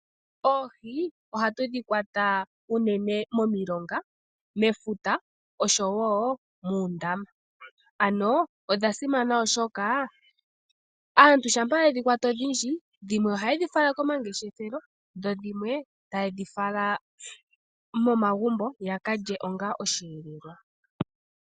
Oohi ohatu dhi kwata unene momilonga, mefuta osho woo muundama, ano odha simana oshoka aantu shampa yedhi kwata odhindji dhimwe ohaye dhi fala komangeshefelo dho dhimwe taye dhi fala momagumbo yaka lye onga osheelelwa.